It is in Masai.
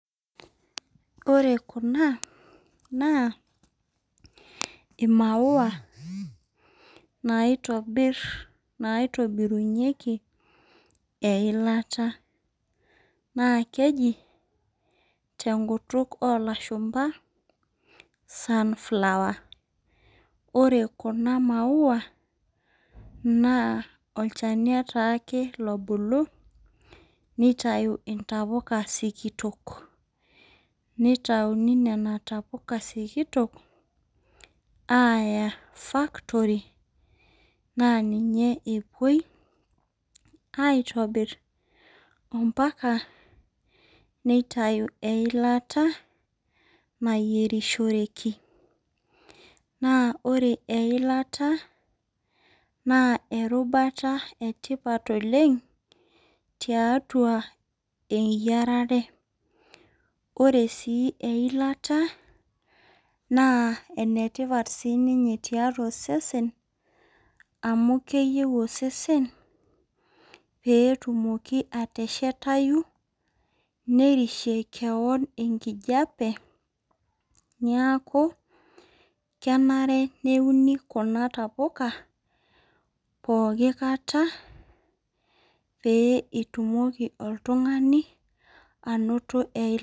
Ore kuna naa imaua naitobir naitobirunyieki eilata naa keji tenkutuk olashumaba sunflower. Ore kuna maua naa olchani taake lobulu nitau ntapuka sikitok , nitauni nena tapuka sikitok aya factory naa ninye epuoi aitobir ampaka niatayu eilata nayierishoreki . Naa ore eilata naa erubata etipat oleng tiatua eyiarare .Ore sii eilata naa enetipat sininye tiatua osesen amu keyieu osesen peetumoki ateshetayu nerishie kewon enkijape niaku kenare neuni kuna tapuka pooki kata pee itumoki oltungani anoto eilata.